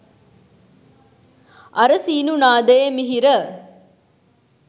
අර සීනු නාදයේ මිහිර